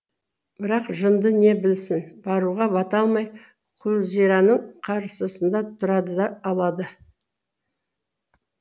бірақ жынды не білсін баруға бата алмай күлзираның қарсысында тұрады да алады